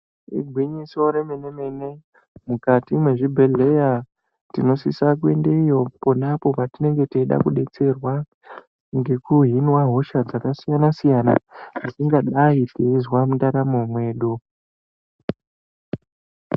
Igwinyiso remenemene mene mukati mezvibhedhlera tinosisa kuendeyo ponapo patinenge teida kubetserwa ngekuhinwa hosha dzakasiyana siyana dzatingadai teizwa mundaramo yedu .